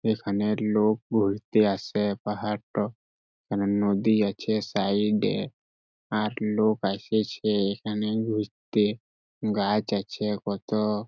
এখানে লোক ঘুরতে আসে পাহাড়টো এখানে নদী আছে সাইড-এ আর লোক আসেছে এখানে ঘুররতে গাছ আছে কতো--